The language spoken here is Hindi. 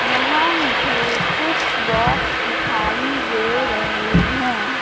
यहां मुझे कुछ बॉक्स दिखाई दे रहे है।